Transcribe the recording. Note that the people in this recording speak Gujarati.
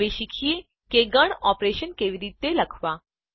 હવે શીખીએ કે ગણ ઓપરેશનો કેવી રીતે લખવા